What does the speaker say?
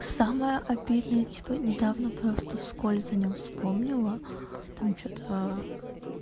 самое обидное типа недавно просто вскольз о нём вспомнила там что-то